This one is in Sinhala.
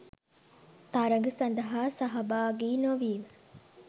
තරග සඳහා සහභාගී නොවීම